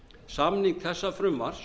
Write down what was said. samning þessa frumvarps